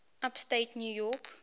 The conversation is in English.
upstate new york